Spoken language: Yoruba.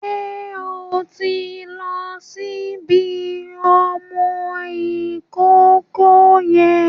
Ṣé o ti ń lo ṣíbí ọmọ ìkókó yẹn?